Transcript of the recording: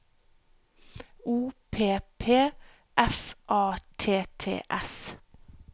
O P P F A T T E S